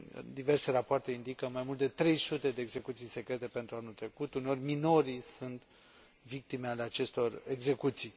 Diverse rapoarte indică mai mult de 300 de execuții secrete pentru anul trecut. Uneori, minorii sunt victime ale acestor execuții.